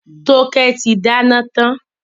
Toke tí dáná tán.